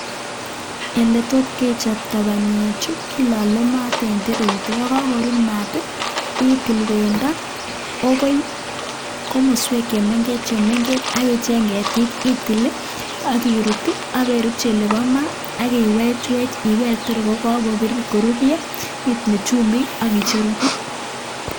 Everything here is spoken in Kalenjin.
Oletos kechoptaaaa panyeeee chuuu kechopeee ketit chemengecheeen akichokteee yanitet ilal maaat asigopit kolal komnyeeee mayatak